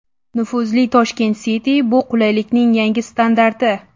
Nufuzli Tashkent City bu qulaylikning yangi standarti.